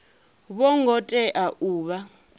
vho ngo tea u vha